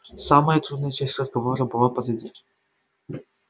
самая трудная часть разговора была позади